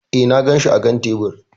E, na ganshi a kan tebur.